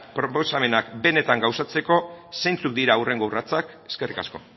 proposamenak benetan gauzatzeko zeintzuk dira hurrengo urratsak eskerrik asko